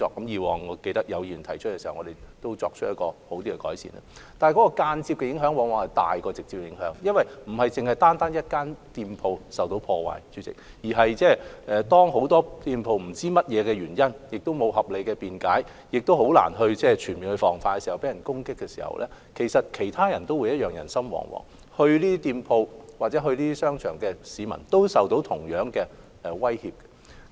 然而，間接的影響往往較直接的影響為大，因為當不是單單一間店鋪受破壞，而是很多店鋪在原因不明，沒有合理辯解，亦難以全面防範的情況下受到別人全面攻擊時，其實其他人亦會人心惶惶，光顧這些店鋪或商場的市民也會受到同樣威脅。